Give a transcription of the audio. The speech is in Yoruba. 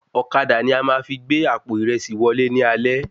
Ọ̀kadà ni a máa fi gbé àpò ìrẹsí wọlé ní alẹ́